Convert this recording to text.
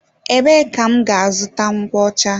Ebee ka m gá-azụta nkwocha?